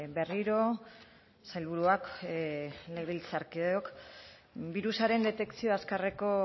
berriro sailburuak legebiltzarkideok birusaren detekzio azkarreko